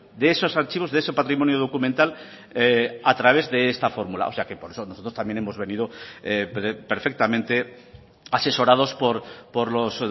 de esos archivos de ese patrimonio documental a través de esta fórmula o sea que por eso nosotros también hemos venido perfectamente asesorados por los